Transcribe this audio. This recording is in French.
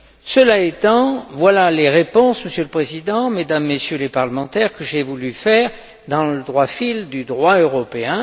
Cela étant, voilà les réponses, Monsieur le Président, Mesdames et Messieurs les parlementaires, que j'ai voulu faire dans le droit fil du droit européen.